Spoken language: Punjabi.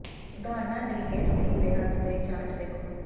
ਉਦਾਹਰਨਾਂ ਲਈ ਇਸ ਲੇਖ ਦੇ ਅੰਤ ਤੇ ਚਾਰਟ ਦੇਖੋ